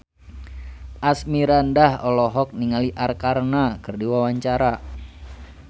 Asmirandah olohok ningali Arkarna keur diwawancara